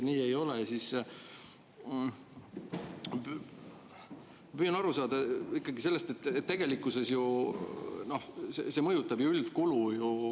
Ma püüan aru saada ikkagi sellest, et tegelikkuses see ju mõjutab üldkulu.